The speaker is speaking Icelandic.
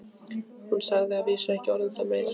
Hún sagði að vísu ekki orð um það meir.